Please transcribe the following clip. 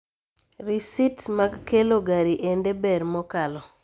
Risists mag kelo gari ende ber nokalo